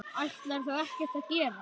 Ætlarðu þá ekkert að gera?